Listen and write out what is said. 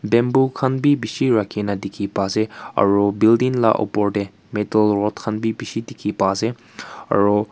bamboo khan bishi lakhi rakhi na pa ase aru building laga upor teh meto lot khan bhi bishi dekhi pai ase aru.